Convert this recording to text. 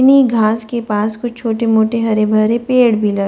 घास के पास कुछ छोटे-मोटे हरे भरे पेड़ भी लगे--